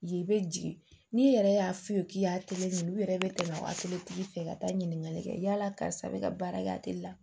Ye i bɛ jigin n'i yɛrɛ y'a f'i ye k'i y'a u yɛrɛ bɛ tɛmɛ waletigi fɛ ka taa ɲininkali kɛ yala karisa bɛ ka baara kɛ a tɛ la